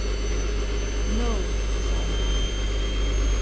No, sagði hann.